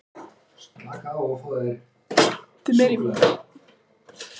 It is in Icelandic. slakið á og horfið einbeitt í um þrjátíu sekúndur á miðja myndina